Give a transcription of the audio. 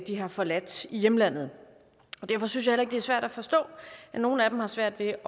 de har forladt i hjemlandet derfor synes jeg heller ikke det er svært at forstå at nogle af dem har svært ved